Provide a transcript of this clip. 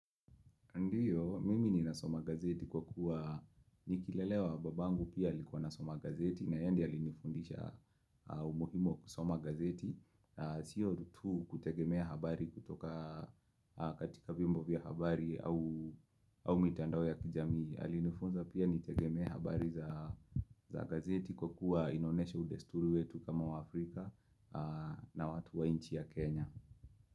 Ndiyo mimi ninasoma gazeti kwa kuwa nikilelewa babangu pia alikuwa anasoma gazeti na yeye ndiye alinifundisha umuhimu wa kusoma gazeti. Sio tu kutegemea habari kutoka katika viombo vya habari au mitandao ya kijamii. Alinifunza pia nitegemee habari za gazeti kwa kuwa inaonesha udesturi wetu kama waafrika na watu wa nchi ya Kenya.